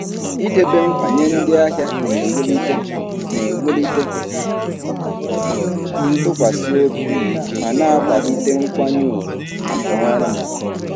Idebe nkwa nye ndị ahịa na-ewulite na-ewulite ntụkwasị obi ma na-akwalite nkwanye ùgwù maka ọrụ m.